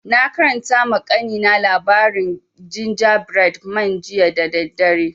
Na karanta ma kanina labarin gingerbread man jiya da daddare